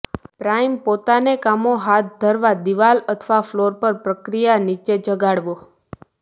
prime પોતાને કામો હાથ ધરવા દીવાલ અથવા ફ્લોર પર પ્રક્રિયા નીચે જગાડવો